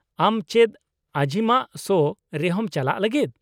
-ᱟᱢ ᱪᱮᱫ ᱟᱡᱤᱢᱟᱜ ᱥᱳ ᱨᱮᱦᱚᱸᱢ ᱪᱟᱞᱟᱜ ᱞᱟᱹᱜᱤᱫ ?